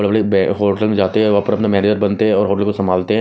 बड़े बड़े होटल जाते हैं वहां पर मैनेजर बनते हैं और उनको संभालते हैं।